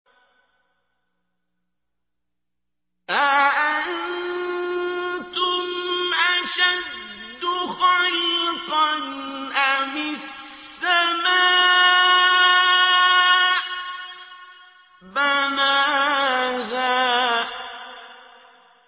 أَأَنتُمْ أَشَدُّ خَلْقًا أَمِ السَّمَاءُ ۚ بَنَاهَا